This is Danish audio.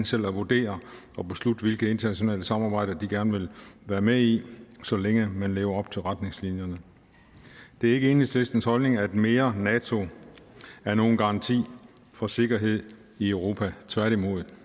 selv at vurdere og beslutte hvilke internationale samarbejder de gerne vil være med i så længe man lever op til retningslinjerne det er ikke enhedslistens holdning at mere nato er nogen garanti for sikkerhed i europa tværtimod